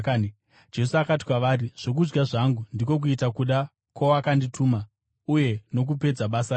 Jesu akati kwavari, “Zvokudya zvangu ndiko kuita kuda kwowakandituma uye nokupedza basa rake.